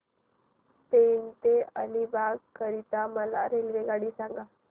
पेण ते अलिबाग करीता मला रेल्वेगाडी सांगा